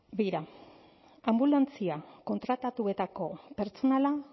begira anbulantzia kontratatuetako pertsonala